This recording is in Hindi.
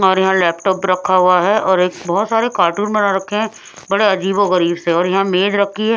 और यहां लैपटॉप रखा हुआ है और एक बहुत सारे कार्टून बना रखे हैं बड़े अजीबो गरीब से और यहां मेज रखी है।